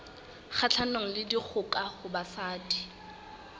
kgahlanong le dikgoka ho basadi